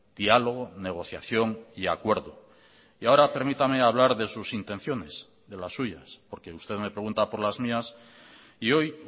diálogo negociación y acuerdo y ahora permítame hablar de sus intenciones de las suyas porque usted me pregunta por las mías y hoy